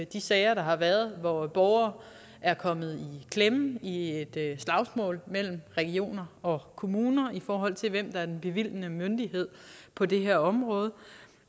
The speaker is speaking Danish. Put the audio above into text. de sager der har været hvor borgere er kommet i klemme i et slagsmål mellem regioner og kommuner i forhold til hvem der er den bevilgende myndighed på det her område